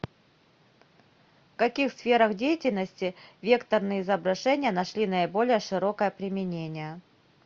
в каких сферах деятельности векторные изображения нашли наиболее широкое применение